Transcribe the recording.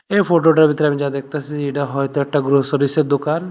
এই ফটোটার ভেতর আমি যা দেখতাছি এটা হয়তো একটা গ্রসারিসের দোকান।